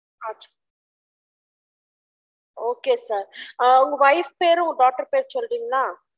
Okay sir உங்க wife பேர் daughter பேர் சொல்ட்ரிங்கலா